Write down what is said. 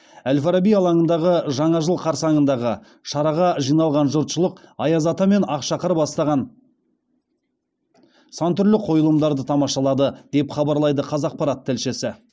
әл фараби алаңындағы жаңа жыл қарсаңындағы шараға жиналған жұртшылық аяз ата мен ақшақар бастаған сан түрлі қойылымдарды тамашалады деп хабарлайды қазақпарат тілшісі